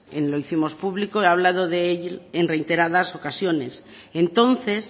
lo hicimos público he hablado de ello en reiteradas ocasiones entonces